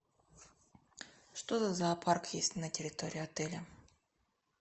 что за зоопарк есть на территории отеля